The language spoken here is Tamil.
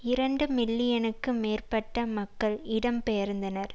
இரண்டு மில்லியனுக்கு மேற்பட்ட மக்கள் இடம்பெயர்ந்தனர்